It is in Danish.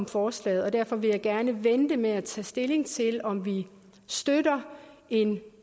forslaget og derfor vil jeg gerne vente med at tage stilling til om vi støtter en